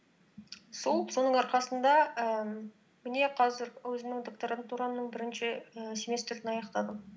сол соның арқасында ііі міне қазір өзімнің докторантурамның бірінші ііі семестрін аяқтадым